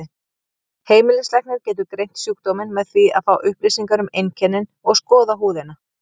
Heimilislæknir getur greint sjúkdóminn með því að fá upplýsingar um einkennin og skoða húðina.